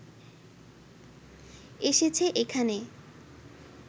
এসেছে এখানে